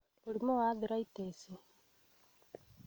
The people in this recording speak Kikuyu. Mũrimũ wa arthritis;